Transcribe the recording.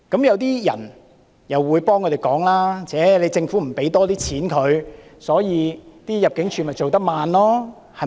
有些人會幫他們說話，指政府不撥出更多金錢，入境處才會工作緩慢。